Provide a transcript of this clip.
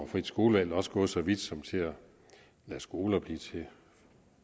frit skolevalg også gået så vidt som til at lade skoler blive til